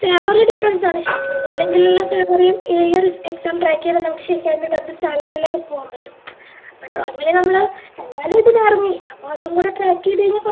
salary difference ആണ് ശെരിക്കും അതല്ലെങ്കിലുള്ള salary യും ഈ ഒര് exam track ചെയ്ത നമുക് അതിൻറെ better salary ലേക്ക് പോകാൻ പറ്റും ഇപ്പൊ normally നമ്മള് എന്തായാലും ഇതിനിറങ്ങി അപ്പൊ അതും കൂടെ track ചെയ്തയിഞ്ഞ കുറച്ച്